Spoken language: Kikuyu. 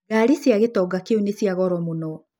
Ngari cia gĩtonga kĩu nĩ cia goro mũno.